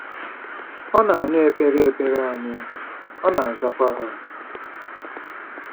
Ọ na-anụ ekpere ekpere anyị, ọ na-azakwa ha.